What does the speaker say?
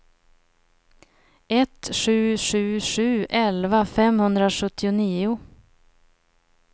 ett sju sju sju elva femhundrasjuttionio